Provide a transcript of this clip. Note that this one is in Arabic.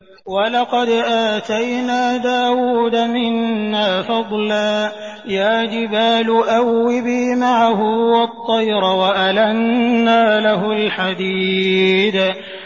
۞ وَلَقَدْ آتَيْنَا دَاوُودَ مِنَّا فَضْلًا ۖ يَا جِبَالُ أَوِّبِي مَعَهُ وَالطَّيْرَ ۖ وَأَلَنَّا لَهُ الْحَدِيدَ